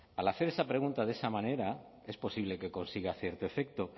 al hacer esa pregunta de esa manera es posible que consiga cierto efecto